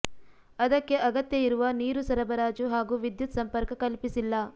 ಅದಕ್ಕೆ ಅಗತ್ಯ ಇರುವ ನೀರು ಸರಬರಾಜು ಹಾಗೂ ವಿದ್ಯುತ್ ಸಂಪರ್ಕ ಕಲ್ಪಿಸಿಲ್ಲ